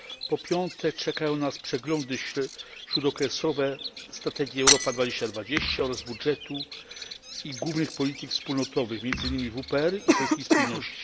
Po piąte, czekają nas przeglądy śródokresowe strategii Europa 2020 oraz budżetu i głównych polityk wspólnotowych, między innymi WPR i polityki spójności.